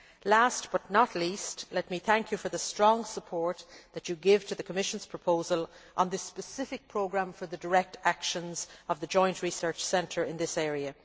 Last but not least, let me thank you for the strong support that you give to the Commission's proposal on the specific programme for the direct actions of the Joint Research Centre in this area.